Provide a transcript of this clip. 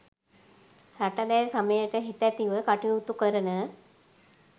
රට දැය සමයට හිතැතිව කටයුතු කරන